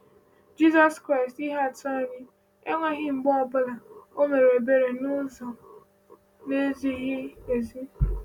Jizọs Kraịst, ihe atụ anyị, enweghị mgbe ọ bụla o o mere ebere n’ụzọ na-ezighị ezi.